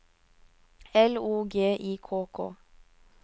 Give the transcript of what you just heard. L O G I K K